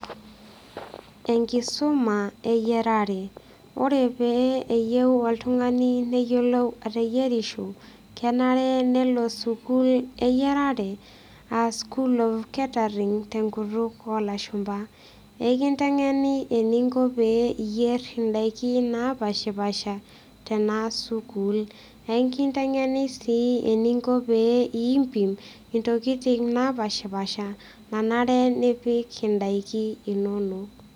Enkisuma eyierare. Ore pee eyieu oltungani neyiolou ateyierisho kenare nelo sukuul eyiarare aa school of catering tenkutuk olashumba. Ekinteng'eni pee iyolou ateyiera indaiki napashpasha tenasukuul. Ekinteng'eni sii eningo pee impim ntokitin napashapasha nanare nipik indaiki inonok.